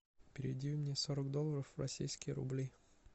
переведи мне сорок долларов в российские рубли